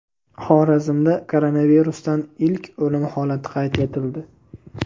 Xorazmda koronavirusdan ilk o‘lim holati qayd etildi.